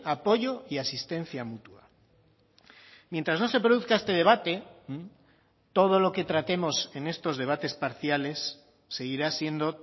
apoyo y asistencia mutua mientras no se produzca este debate todo lo que tratemos en estos debates parciales seguirá siendo